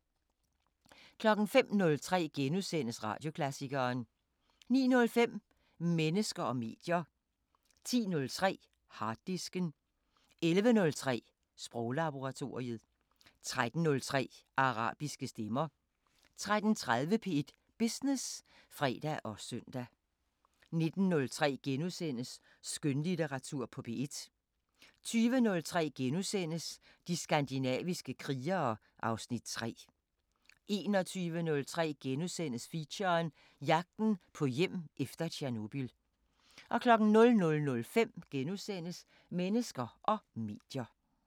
05:03: Radioklassikeren * 09:05: Mennesker og medier 10:03: Harddisken 11:03: Sproglaboratoriet 13:03: Arabiske Stemmer 13:30: P1 Business (fre og søn) 19:03: Skønlitteratur på P1 * 20:03: De skandinaviske krigere (Afs. 3)* 21:03: Feature: Jagten på hjem efter Tjernobyl * 00:05: Mennesker og medier *